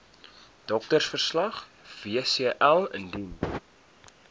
doktersverslag wcl indien